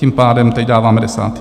Tím pádem teď dáváme desátý.